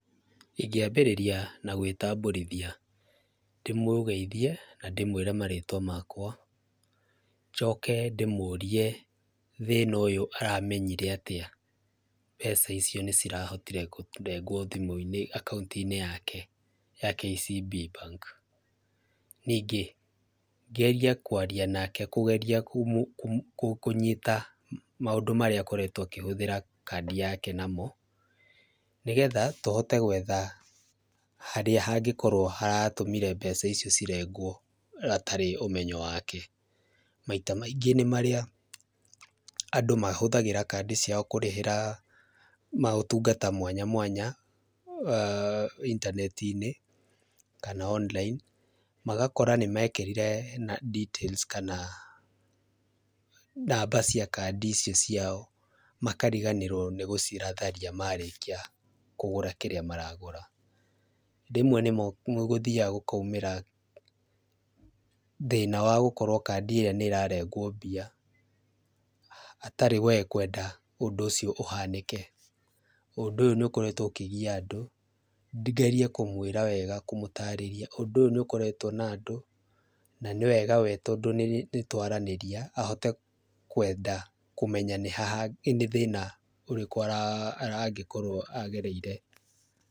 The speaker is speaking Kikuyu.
Ĩngĩambĩrĩria na gwĩtambũrithia ndĩmũgeithie na ndĩmwĩre marĩtwa makwa, njoke ndĩmũrie thĩna ũyũ aramenyire atĩa mbeca icio nĩcirahotire kũrengwo thimũ-inĩ, akaunti-inĩ yake ya KCB Bank. Ningĩ ngerie kwaria nake kũgeria kũnyita maũndũ marĩa akoretwo akĩhũthĩra kandi yake namo, nĩgetha tũhote gwetha harĩa hangĩkorwo haratũmire mbeca icio cirengwo hatarĩ ũmenyo wake, maita maingĩ nĩ marĩa andũ mahũthagĩra kandi ciao kũrĩhĩra maũtungata mwanya mwanya aah intaneti-inĩ kana online magakora nĩmekĩrire details kana namba cia kandi icio cia makariganĩrwo nĩ gũcitharia marĩkia kũgũra kĩrĩa maragũra. Rĩmwe nĩ gũthiaga gũkaumĩra thĩna wa gũkorwo kandi ĩrĩa nĩ ta rengwo mbia hatarĩ we kwenda ũndũ ũcio ũhanĩke, ũndũ ũyũ nĩ ũkoretwo ũkĩgia andũ, ngerie kũmwĩra wega, kũmũtarĩria ũndũ ũyũ nĩ ũkoretwo na andũ na nĩ wega we tondũ nĩ twaranaria ahote kwenda kũmenya nĩha na nĩ thĩna ũrĩkũ angĩkorwo agereire.